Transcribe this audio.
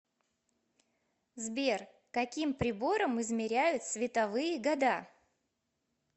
сбер каким прибором измеряют световые года